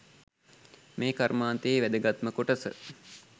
මේ කර්මාන්තයේ වැදගත්ම කොටස.